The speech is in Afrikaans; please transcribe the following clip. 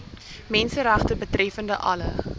menseregte betreffende alle